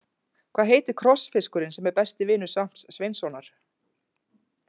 Hvað heitir krossfiskurinn sem er besti vinur Svamps Sveinssonar?